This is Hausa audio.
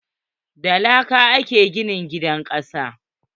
Da laka a ke gina gidan kasa.